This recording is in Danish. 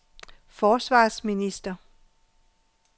forsvarsminister